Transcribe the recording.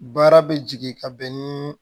Baara bɛ jigin ka bɛn ni